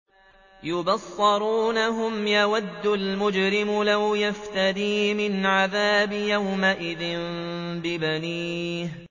يُبَصَّرُونَهُمْ ۚ يَوَدُّ الْمُجْرِمُ لَوْ يَفْتَدِي مِنْ عَذَابِ يَوْمِئِذٍ بِبَنِيهِ